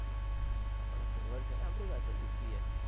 આપણા server છે ને આપણી સાથે vpn